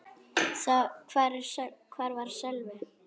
Hvar var Sölvi?